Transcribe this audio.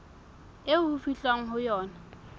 eo ho fihlwang ho yona